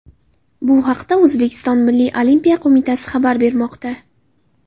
Bu haqda O‘zbekiston Milliy olimpiya qo‘mitasi xabar bermoqda .